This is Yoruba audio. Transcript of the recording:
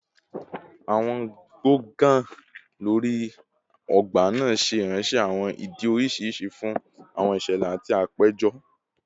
Awọn gbọngàn lori ogba naa ṣe iranṣẹ awọn idi oriṣiriṣi fun awọn iṣẹlẹ ati apejọ